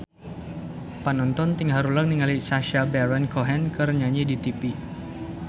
Panonton ting haruleng ningali Sacha Baron Cohen keur nyanyi di tipi